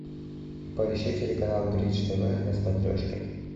поищи телеканал бридж тв на смотрешке